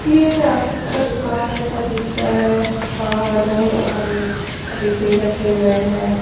ये एक राशन का दुकान जैसा दिख रहा है बाहर बहुत सारे डिब्बे रखे हुए हैं।